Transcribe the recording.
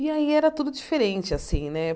E aí era tudo diferente assim, né?